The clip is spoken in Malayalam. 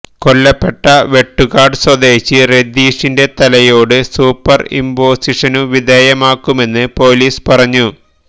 കൊല്ലപ്പെട്ട വെട്ടുകാട് സ്വദേശി രതീഷിന്റെ തലയോട് സൂപ്പര് ഇംപോസിഷനു വിധേയമാക്കുമെന്ന് പോലീസ് പറഞ്ഞു